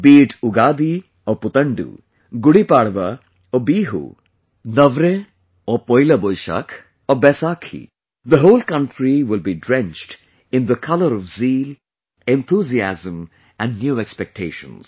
Be it Ugadi or Puthandu, Gudi Padwa or Bihu, Navreh or Poila, or Boishakh or Baisakhi the whole country will be drenched in the color of zeal, enthusiasm and new expectations